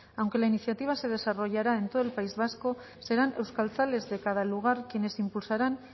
aunque la iniciativa se desarrollará en todo el país vasco serán euskaltzales de cada lugar quienes impulsarán